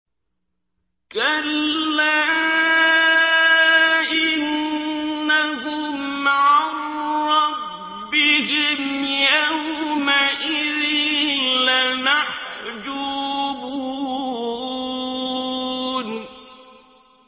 كَلَّا إِنَّهُمْ عَن رَّبِّهِمْ يَوْمَئِذٍ لَّمَحْجُوبُونَ